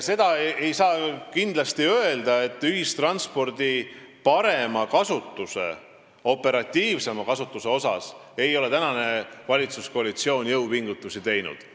Seda ei saa kindlasti öelda, et valitsuskoalitsioon ei ole ühistranspordi parema, operatiivsema kasutuse nimel jõupingutusi teinud.